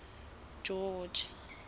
george